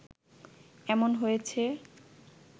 এমন হয়েছে